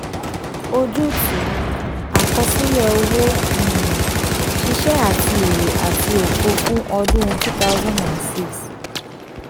ojútùú: àkọsílẹ̀ òwò um ṣíṣe àti èrè àti òfò fún ọdún two thousand six.